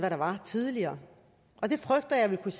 tidligere det frygter jeg vil kunne